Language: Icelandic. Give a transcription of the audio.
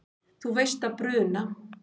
Þú veist að bruna